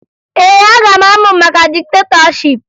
Ee, aga m amụ maka diktetọship